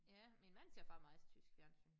Ja min mand ser faktisk meget tysk fjernsyn